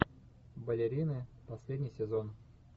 балерины последний сезон